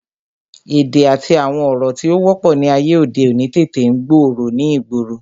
Èdè àti àwọn ọ̀rọ̀ tí ó wọ́pọ̀ ni ayé òde òní tètè ń gbòòrò ni ìgboro